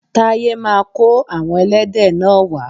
Taye ma kó àwon ẹlẹ́dẹ̀ náà wa